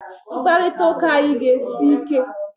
Mkparịta ụka anyị ga-esi ike!